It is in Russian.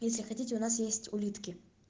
если хотите у нас есть улитки